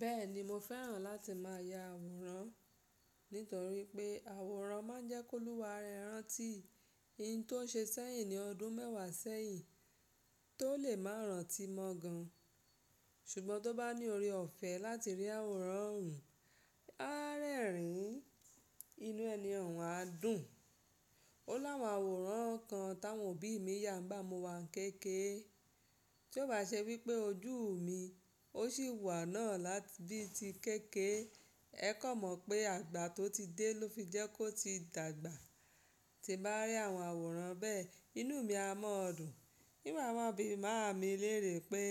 Bẹ́ẹ̀ni, mo fẹ́ràn láti máa ya àwòrán, nítorí pé àwòrán máa ń jẹ́ kóluwa rẹ rántí ohun tó ṣe sẹ́yìn ní ọdún mẹ́wàá sẹ́yìn tó lè máa rántí mọ́ gan. Ṣùgbọ́n tó bá ní ọrẹ ọ̀fẹ́ láti rí àwòrán òun, a rẹ́rìn ín, inú ẹni òun á dùn. Ó láwọn áwòrán kan táwọn òbí mi yà nigbá mo wa kékèrè. Tí ó bá ṣe wípé ojú mi ó sì wà náà láti bíi ti kékèrè, ẹ kó mọ̀ pé àgbà tó ti dé ló fi jẹ́ kó ti dàgbà. Tí bá rí àwọn àwòrán bẹ́ẹ̀, inú mi á mọ́ dùn. Ti ma ma bí máami lérè pé,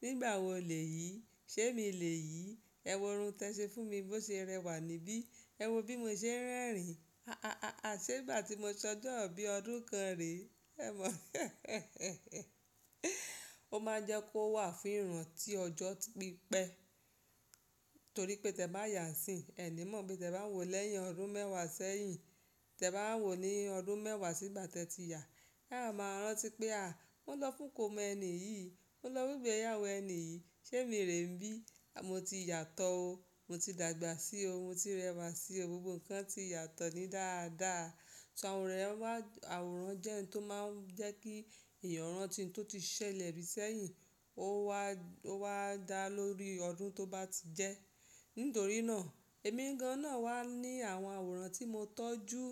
nígbà wo lèyí? Ṣé mi lèyí? Ẹ wò irun tí ẹ ṣe fún mi bó ṣe rẹwà níbí. Ẹ wo bí mo ṣe ń rẹ́rìn. À ṣe gbà tí mo s'ọjọ ibí ọdún kan rẹ. Ó máa ń jẹ́ kó wà fún ìrántí ọjọ́ pípẹ́. Torí pé tẹ bá yà sín, ẹ ní mọ pe tẹ bá wòó lẹ́yìn ọdún mẹ́wàá sẹ́yìn. Tẹ bá wòó ní ọdún mẹ́wàá sí ìgbà tẹ ti yà, á máa rántí pé à, mo lọ fún kọmọ ẹni yìí, mo lọ fún ìgbéyàwó ẹni yìí, ṣé mi rè n bí? Mo ti yàtọ̀ o, mo ti dàgbà sí o, mo ti rẹwà sí o, gbogbo ǹkan ti yàtọ̀ ní dáadáa. So àwòrán máa, àwòrán jẹ́ ohun tó máa ń jẹ́ kí èèyàn rántí ohun tó ti ṣẹlẹ̀ rí sẹ́yìn ó wá dá lórí ọdún tó bá ti jẹ́. Nítorí náà èmi gan náà wà ní àwọn àwòrán tí mo tọ́jú,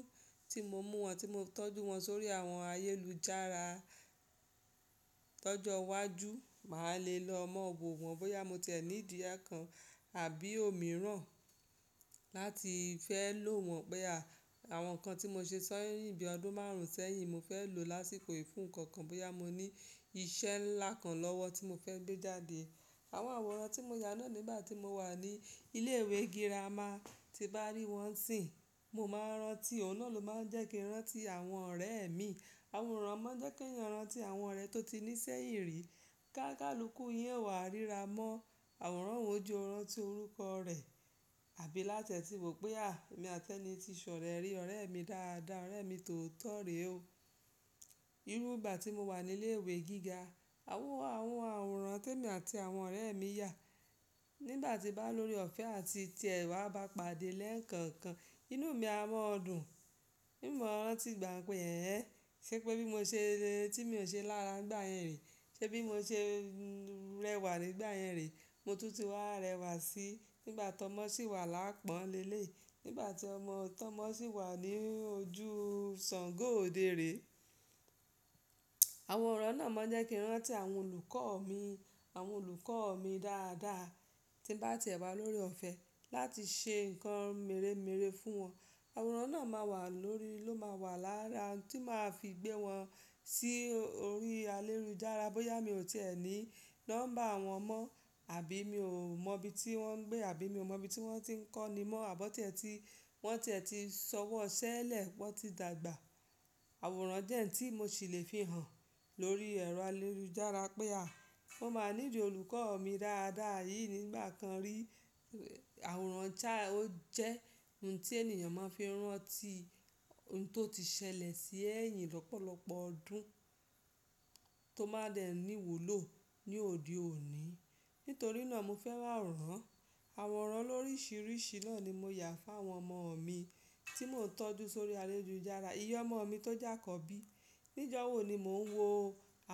tí mo mú wọn, tí mo tọ́jú wọn sórí àwọn ayélujára. Lójó wájú, màá le lọ mọ́ wò wọ́n bóyá mo tẹ̀ nìdí ẹ́ kan àbí òmíràn láti fẹ́ lò wọ́n pé à, àwọn ǹkan tí mo ṣe sẹ́yìn bíi ọdún márùn sẹ́yìn mo fẹ́ lò lásìkò yìí fún ǹkankan bóyá mo ní ìṣẹ́ ńlá kan lọ́wọ́ tí mo fẹ́ gbé jáde. Àwọn àwòrán tí mo yà náà nígbà tí mo wà ní ilé ìwé gírámà tí bá rí wọ́n sìn, mo máa rántí, òun náà ló máa ń jẹ́ kí n rántí àwọn ọ̀rẹ́ mi. Àwòrán máa ń jẹ́ kí èèyàn rántí àwọn ọ̀rẹ́ tó ti ní sẹ́yìn rí. Gákalukú yín ò wa rírà mọ́ àwòrán òun o jẹ rántí orúkọ rẹ àbí láti ẹ ti wò pé à, èmi àti ẹni ti ṣọ̀rẹ́ rí ọ̀rẹ́ mi dáadáa, ọ̀rẹ́ mi tòótọ rẹ o. Nígbà tí mo wà ní ilé ìwé gíga, àwọn àwòrán tí èmi àti àwọn ọ̀rẹ́ mi yà nígbà tí bá lóore ọ̀fẹ́ àti tí ẹ wà bá pàdé lẹ́ẹ̀kankan, inú mi á mọ́ dùn. Tí mo rántí igbà pé ẹ ẹ́, ṣé pé bí mo ṣe le tí mi ò ṣe lára nígbà yẹn rẹ. Ṣé bí mo ṣe rẹwà nígbà yẹn rẹ. Mo tútù wá rẹwà sí nígbà tọ́mọsí wà lápọ̀n lélẹ̀ yi, nígbà tí ọmọ tọ́mọsí wà ní ojú ṣàngó òde rẹ. Àwòrán náà máa ń jẹ́ kí n rántí àwọn olùkọ́ mi, àwọn olùkọ́ mi dáadáa tí bá tẹ̀ wá lóore ọfẹ láti ṣe nǹkan merè mère fún wọn. Àwòrán náà máa wà lórí, ló máa wà lára ohun tí màá fi gbé wọn sí orí ayélujára bóyá mi ò tẹ̀ ní nọ́mbà wọn mọ́ àbí mi ò mọ ibi tí wọn gbé àbí mi ò mọ ibi tí wọn ti ń kọ́ni mọ́ àbọ̀ ọtẹ́ tí wọ́n tẹ́ tí sọwọ́ ṣẹ́lẹ̀ wọ́n ti dàgbà. Àwòrán jẹ́ ohun tí mo ṣì lè fi hàn lórí ẹ̀rọ ayélujára pé à, mo máa nídi olùkọ́ mi dáadáa yìí nígbà kan rí. Àwòrán jẹ́ ohun tí ènìyàn máa ń fi rántí ohun tó ti ṣẹlẹ̀ sí ẹ́yìn lọ́pọ̀lọ́pọ̀ ọdún tó má dẹ ní wúlò ní òde òní. Nítorí náà mo fẹ́ràn àwòrán. Àwòrán lórísìírísìí náà ni mo yà fún àwọn ọmọ mi tí mo ń tọ́jú sórí ayélujára. Ìyẹn ọmọ mi tó jà àkọ́bí, níjọ́wọ́ ni mò ń wo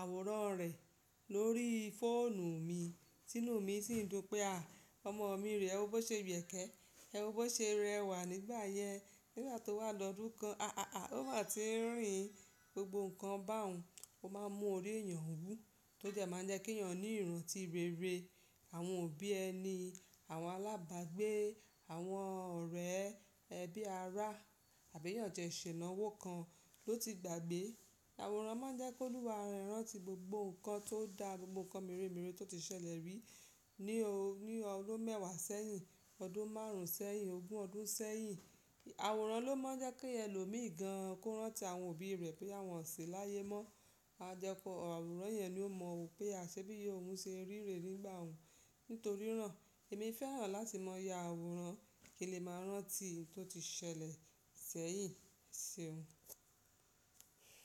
àwòrán rẹ̀ lórí fóònù mi, tínú mi sì ń dùn pé à, ọmọ mi rẹ̀, ewọ bo ṣe yokẹ́, ewọ bọ́ ṣe rẹwà nígbà yẹn, nígbà tó wà lọ́dún kan, aa o ma tí ń rìn gbogbo nǹkan bá òun, ó máa ń mú orí èèyàn wú, tó jẹ́ máa ń jẹ́ kí èèyàn ní ìrántí rere. Àwọn òbí ẹni, àwọn alábàgbé, àwọn ọ̀rẹ́, ẹbí, ará àbí èèyàn tẹ ṣè inàwó kan ló ti gbà gbé. Àwòrán máa ń jẹ́ kólu wa rẹ rántí gbogbo nǹkan tó dà gbogbo nǹkan merè mère tó ti ṣẹlẹ̀ rí ní ọdún mẹ́wàá sẹ́yìn, ọdún márùn sẹ́yìn, ogún ọdún sẹ́yìn. Àwòrán ló máa ń jẹ́ kí ẹlò míì gan kó rántí àwọn òbí rẹ̀ bọya wọn o ṣì láyé mọ́. Ajẹ́ku àwòrán yẹn ló mọ̀ wò pé à ṣé bí iya oun ṣe rí rè nígbà òun. Nítorí náà èmi fẹ́ràn láti máa ya àwòrán kí lè máa rántí ohun tó ti ṣẹlẹ̀ sẹ́yìn sí.